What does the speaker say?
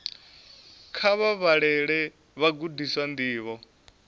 kha vha vhalele vhagudiswa ndivho